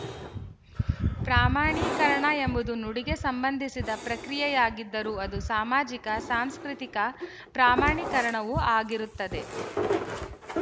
ಪ್ರಾಮಾಣೀಕರಣ ಎಂಬುದು ನುಡಿಗೆ ಸಂಬಂಧಿಸಿದ ಪ್ರಕ್ರಿಯೆಯಾಗಿದ್ದರೂ ಅದು ಸಾಮಾಜಿಕ ಸಾಂಸ್ಕೃತಿಕ ಪ್ರಾಮಾಣೀಕರಣವು ಆಗಿರುತ್ತದೆ